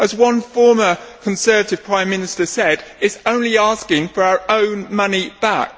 As one former Conservative Prime Minister said it is only asking for our own money back.